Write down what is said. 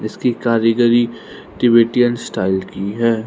इसकी कारीगरी Tibetan style की है।